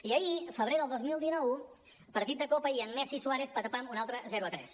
i ahir febrer del dos mil dinou partit de copa i amb messi i suárez patapam un altre zero a tres